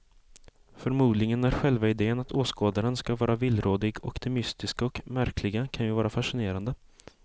Förmodligen är själva idén att åskådaren ska vara villrådig och det mystiska och märkliga kan ju vara fascinerande.